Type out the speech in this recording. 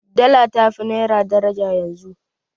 Dala ta fi naira daraja yanzu.